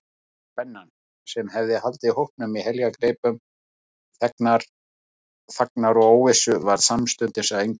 Spennan, sem hafði haldið hópnum í heljargreipum þagnar og óvissu, varð samstundis að engu.